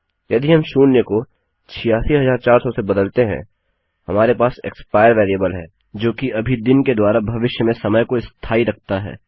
यदि हम शून्य को 86400 से बदलते हैं हमारे पास एक्सपायर वेरिएबल है जो कि अभी दिन के द्वारा भविष्य में समय को स्थाई रखता है